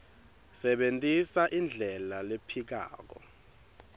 sebentisa indlela lephikako